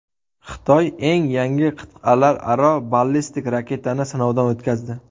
Xitoy eng yangi qit’alararo ballistik raketani sinovdan o‘tkazdi.